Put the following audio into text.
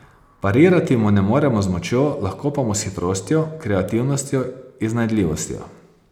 Parirati mu ne moremo z močjo, lahko pa mu s hitrostjo, kreativnostjo, iznajdljivostjo.